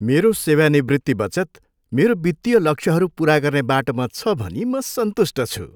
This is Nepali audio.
मेरो सेवानिवृत्ति बचत मेरो वित्तीय लक्ष्यहरू पुरा गर्ने बाटोमा छ भनी म सन्तुष्ट छु।